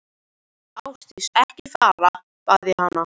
Ásdís, ekki fara, bað ég hana.